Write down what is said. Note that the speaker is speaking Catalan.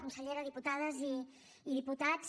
consellera diputades i diputats